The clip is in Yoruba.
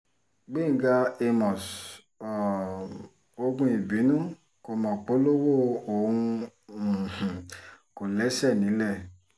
gbẹ̀ngà àmos um ọ̀gùn ìbínú kò mọ polówó òun um kò lẹ́sẹ̀ nílẹ̀